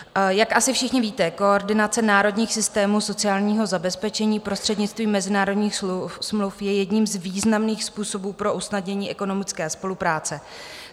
Jak asi všichni víte, koordinace národních systémů sociálního zabezpečení prostřednictvím mezinárodních smluv je jedním z významných způsobů pro usnadnění ekonomické spolupráce.